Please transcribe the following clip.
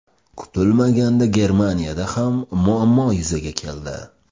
Kutilmaganda Germaniyada ham muammo yuzaga keldi.